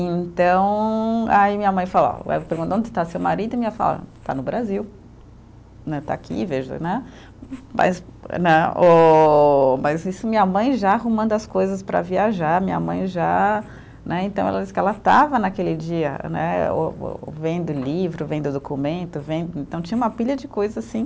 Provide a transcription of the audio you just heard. E então, aí minha mãe falou ó, perguntou onde está seu marido e minha mãe falou, ó está no Brasil, né está aqui, veja né, mas né o, mas isso minha mãe já arrumando as coisas para viajar, minha mãe já né, então ela disse que ela estava naquele dia né, ô ô vendo livro, vendo documento, vendo, então tinha uma pilha de coisa assim,